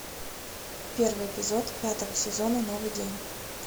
первый эпизод пятого сезона новый день